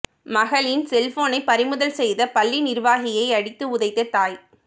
மகளின் செல்போனை பறிமுதல் செய்த பள்ளி நிர்வாகியை அடித்து உதைத்த தாய்